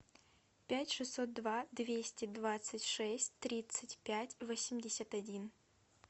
пять шестьсот два двести двадцать шесть тридцать пять восемьдесят один